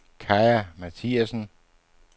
Kaja Mathiasen